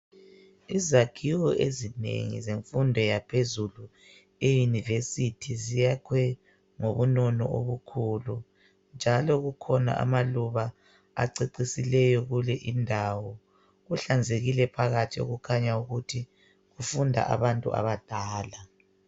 Izakhiwo ezinengi zemfundo yaphezulu eyunivesithi ziyakhwe ngobunono obukhulu njalo kukhona amaluba acecisileyo kule indawo. Kuhlanzekile phakathi kukhanya ukuthi kufunda abantu abadala.